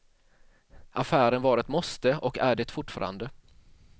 Affären var ett måste och är det fortfarande.